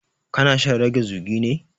Ka na shan rage zugi ne?